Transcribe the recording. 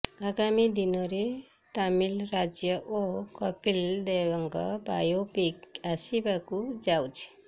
ଆଗାମୀ ଦିନରେ ମିତାଲି ରାଜ ଓ କପିଲ ଦେବଙ୍କ ବାୟୋପିକ ଆସିବାକୁ ଯାଉଛି